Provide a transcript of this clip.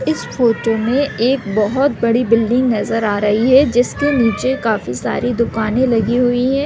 इस फोटो में एक बहोत बड़ी बिल्डिंग नज़र आ रही है जिसके निचे काफी सरेा दुकाने लगी हुई है।